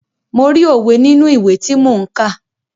Mo rí òwe nínú ìwé tí mò ń kà.